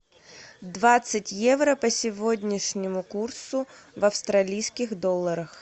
двадцать евро по сегодняшнему курсу в австралийских долларах